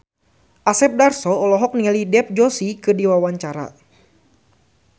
Asep Darso olohok ningali Dev Joshi keur diwawancara